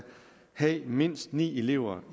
have mindst ni elever